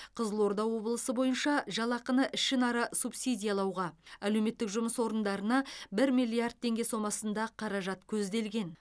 қызылорда облысы бойынша жалақыны ішінара субсидиялауға әлеуметтік жұмыс орындарына бір миллиард теңге сомасында қаражат көзделген